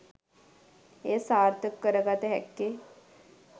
එය සාර්ථක කර ගත හැක්කේ